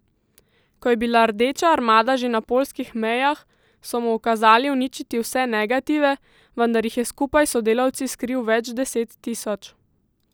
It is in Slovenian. Ko je bila Rdeča armada že na poljskih mejah, so mu ukazali uničiti vse negative, vendar jih je skupaj s sodelavci skril več deset tisoč.